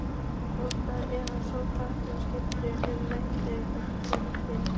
Snjóskriðum eða snjóflóðum svipar um margt til aurskriðna.